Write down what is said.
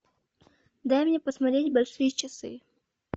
дай мне посмотреть большие часы